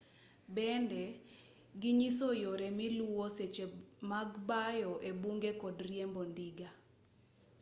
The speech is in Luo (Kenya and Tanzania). bende ginyiso yore miluwo seche mag bayo ebunge kod riembo ndiga